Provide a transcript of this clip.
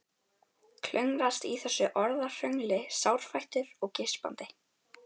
Klöngrast í þessu orðahröngli sárfættur og geispandi.